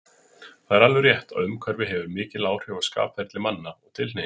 Það er alveg rétt, að umhverfi hefir mikil áhrif á skapferli manna og tilhneigingar.